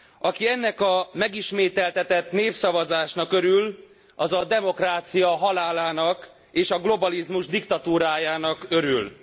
Aki ennek a megismételtetett népszavazásnak örül, az a demokrácia halálának és a globalizmus diktatúrájának örül.